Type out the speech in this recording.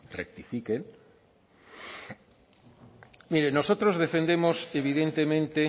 rectifiquen miren nosotros defendemos evidentemente